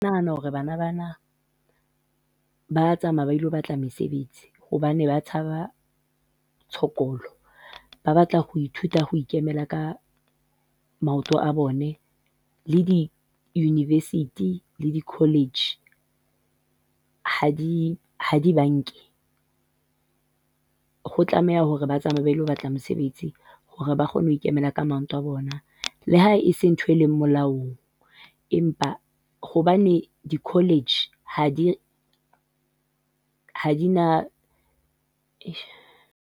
Nahana hore bana bana ba a tsamaya ba ilo batla mesebetsi, hobane ba tshaba tshokolo, ba batla ho ithuta ho ikemela ka maoto a bone, le di-university le di-college ha di ha di ba nke. Ho tlameha hore ba tsamaye ba ilo batla mosebetsi, hore ba kgone ho ikemela ka maoto a bona, le ha ese ntho e le molaong, empa hobane di-college ha di, ha di na .